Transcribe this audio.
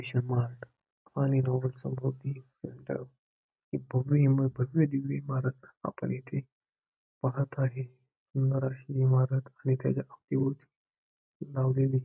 mission Mart आणि दोघं चौघं ही ही भव्य इमा भव्य दिव्य इमारत आपण इथे पाहत आहे सुंदर अशी इमारत आणि त्याच्या अवतीभोवती लावलेली--